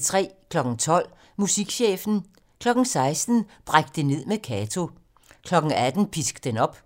12:00: Musikchefen 16:00: Bræk det ned med Kato 18:00: Pisk den op